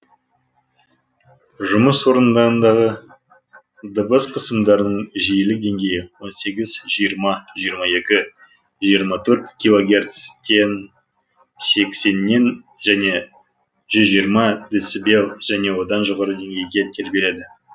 жұмыс орындарындағы дыбыс қысымдарының жиілік деңгейі он сегіз жиырма жиырма екі жиырма төрт килогерцтен сексеннен және жүз жиырма децибел және одан жоғары деңгейде тербеледі